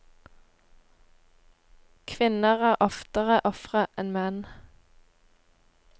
Kvinner er oftere ofre enn menn.